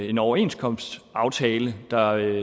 en overenskomstaftale der